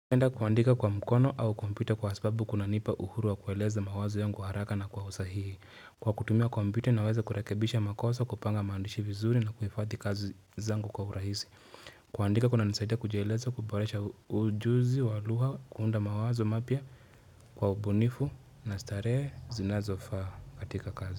Napenda kuandika kwa mkono au kompyuta kwa sababu kuna nipa uhuru wa kueleza mawazo yangu haraka na kwa usahihi. Kwa kutumia kompyuta naweza kurekebisha makosa kupanga maandishi vizuri na kuhifadhi kazi zangu kwa urahisi. Kuandika kunanisaidia kujieleza kuboresha ujuzi wa lugha kuunda mawazo mapya kwa ubunifu na starehe zinazofaa katika kazi.